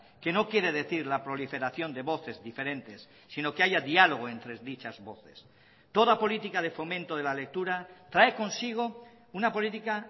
que no quiere decir la proliferación de voces diferentes sino que haya diálogo entre dichas voces toda política de fomento de la lectura trae consigo una política